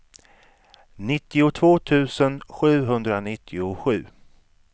nittiotvå tusen sjuhundranittiosju